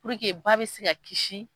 ba bɛ se ka kisi.